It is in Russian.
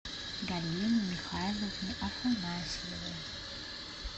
галине михайловне афанасьевой